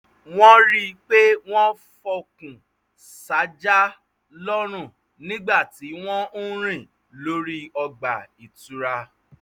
wọ́n rí i pé wọ́n fọkùn sájà lọ́rùn nígbà tí wọ́n ń rìn lórí ọgbà ìtura